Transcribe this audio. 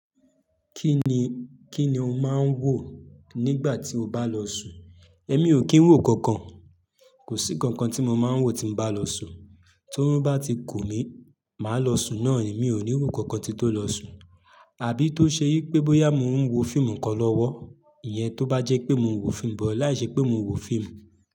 Kí ni, kí ni o máa ń wò nígbà tí o bá lọ sùn? Èmi ò kí ń wò kankan. Kò sí kankan tí mo máa ń wò tí mo bá lọ sùn. Torun bá ti kù mí, màá lọ sùn náà ni, mi ò ní wò nkankan ki n tó lọ sùn. Àbí tó ṣe yí pé bóyá mo ń wo fíìmù kan lọ́wọ́, ìyẹn tó bá jẹ́ pé mo ń wo fíìmù bọ̀ láìṣẹ́ pé mo ń wo fíìmù.